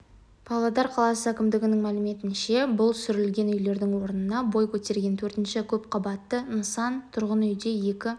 павлодар қаласы әкімдігінің мәліметінше бұл сүрілген үйлердің орнында бой көтерген төртінші көпқабатты нысан тұрғын үйде екі